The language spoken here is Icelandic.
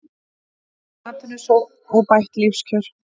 Ný atvinnusókn og bætt lífskjör